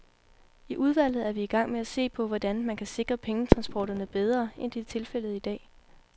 I udvalget er vi i gang med at se på, hvordan man kan sikre pengetransporterne bedre, end det er tilfældet i dag.